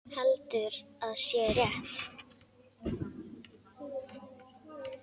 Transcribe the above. Heldur að sé rétt.